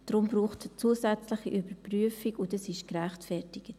Deshalb braucht es eine zusätzliche Überprüfung, und das ist gerechtfertigt.